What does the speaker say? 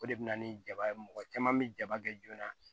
O de bɛ na ni jaba ye mɔgɔ caman bɛ jaba kɛ joona